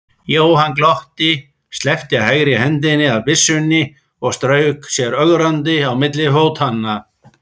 Jóhann glotti, sleppti hægri hendinni af byssunni og strauk sér ögrandi á milli fótanna.